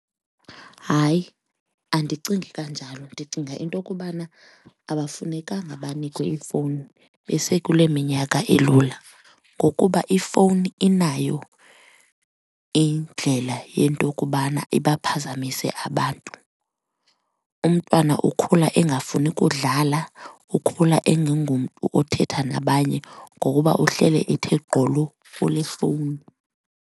Hayi, andicingi kanjalo. Ndicinga into kubana abafunekanga banikwe iifowuni besekule minyaka elula ngokuba ifowuni inayo indlela yento kubana ibaphazamise abantu. Umntwana ukhula engafuni kudlala, ukhula engengumntu othetha nabanye ngokuba uhlele ethe gqolo kule fowuni.